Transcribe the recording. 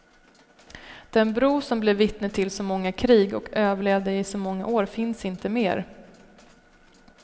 Den bro som blev vittne till så många krig och överlevde i så många år finns inte mer.